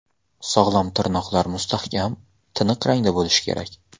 Sog‘lom tirnoqlar mustahkam, tiniq rangda bo‘lishi kerak.